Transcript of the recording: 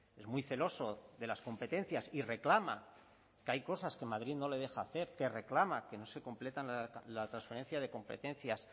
es muy celoso de las competencias y reclama que hay cosas que madrid no le deja hacer que reclama que no se completa la transferencia de competencias